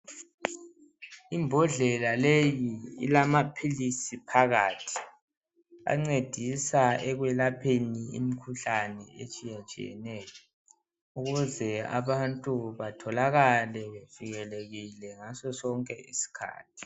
Imbodlela leyi ilamaphilisi phakathi ancedisa ekwelapheni imikhuhlane etshiyatshiyeneyo, ukuze abantu batholakale bevikelekile ngaso sonke isikhathi.